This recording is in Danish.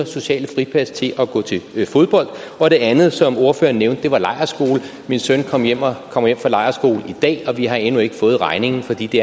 sociale fripas til at gå til fodbold det andet som ordføreren nævnte var lejrskole min søn kommer hjem fra lejrskole i dag og vi har endnu ikke fået regningen fordi det